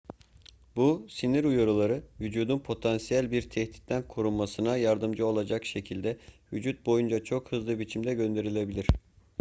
bu sinir uyarıları vücudun potansiyel bir tehditten korunmasına yardımcı olacak şekilde vücut boyunca çok hızlı biçimde gönderilebilir